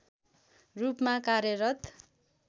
रूपमा कार्यरत